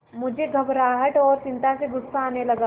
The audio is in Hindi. मुझे घबराहट और चिंता से गुस्सा आने लगा